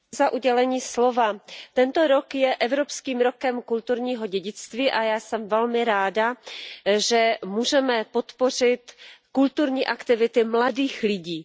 Pane předsedající, tento rok je Evropským rokem kulturního dědictví a já jsem velmi ráda, že můžeme podpořit kulturní aktivity mladých lidí.